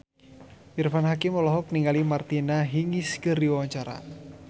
Irfan Hakim olohok ningali Martina Hingis keur diwawancara